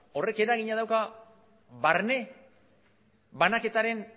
horrek eragina dauka barne banaketaren